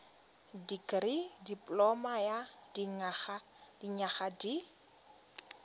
dikirii dipoloma ya dinyaga di